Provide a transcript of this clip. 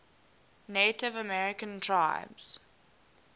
native american tribes